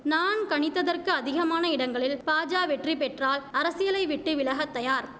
நான் கணித்ததற்கு அதிகமான இடங்களில் பாஜா வெற்றிபெற்றால் அரசியலைவிட்டு விலகத் தயார்